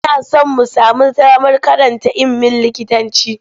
Muna son mu sami damar karanta iimin likitanci.